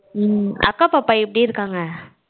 உம் அக்கா பாப்பா எப்படி இருக்காங்க?